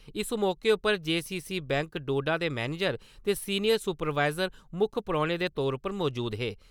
इस मौके उप्पर जेसीसी बैंक डोडा दे मैनेजर ते सीनियर सुपरवाइज़र मुक्ख परौने दे तौर उप्पर मजूद हे ।